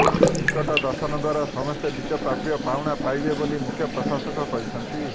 ticket ଦର୍ଶନ ଦ୍ୱାରା ସମସ୍ତେ ନିଜ ପ୍ରାପ୍ୟ ପାଉଣା ପାଇବେ ବୋଲି ମୁଖ୍ୟ ପ୍ରଶାସକ କହିଛନ୍ତି